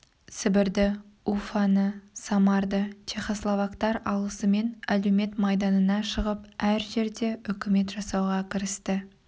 сібірді уфаны самарды чехословактар алысымен әлеумет майданына шығып әр жерде үкімет жасауға кірісті